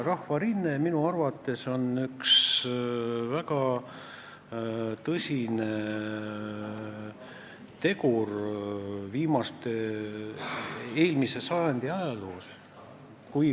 Rahvarinne on minu arvates üks väga tõsine tegur eelmise sajandi ajaloos.